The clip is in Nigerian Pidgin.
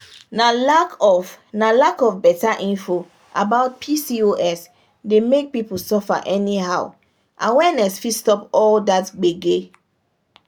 na lack of na lack of better info about pcos dey make people suffer anyhow awareness fit stop all that gbege.